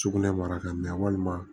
Sugunɛ mara ka mɛ walima